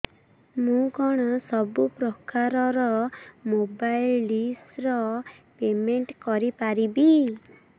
ମୁ କଣ ସବୁ ପ୍ରକାର ର ମୋବାଇଲ୍ ଡିସ୍ ର ପେମେଣ୍ଟ କରି ପାରିବି